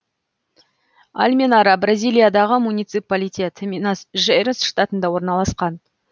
алменара бразилиядағы муниципалитет минас жерайс штатында орналасқан